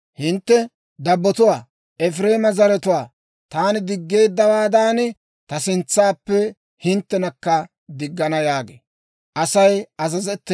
Hintte dabbotuwaa, Efireema zeretsatuwaa taani diggeeddawaadan, ta sintsappe hinttenakka diggana» yaagee.